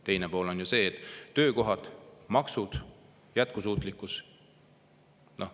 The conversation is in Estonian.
Teine pool on töökohad, maksud, jätkusuutlikkus.